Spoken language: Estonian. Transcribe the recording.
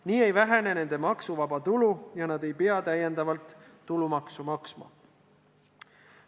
Nii ei vähene nende maksuvaba tulu ja nad ei pea rohkem tulumaksu maksma.